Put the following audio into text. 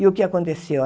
E o que aconteceu?